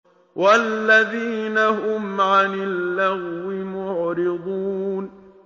وَالَّذِينَ هُمْ عَنِ اللَّغْوِ مُعْرِضُونَ